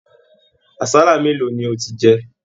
Àsálà mélòó ni ò tí jẹ?